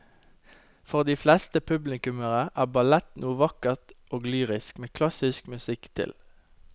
For de fleste publikummere er ballett noe vakkert og lyrisk med klassisk musikk til.